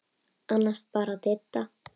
Annars bara Didda.